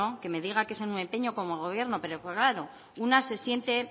que me diga que es un empeño como gobierno pero claro una se siente